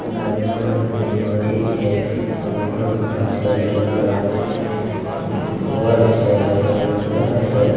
पूरा जंगल छे तीन गो अथी छे और गाछ छे केला के गाछ छे उम्म घर छे एगो पता छे।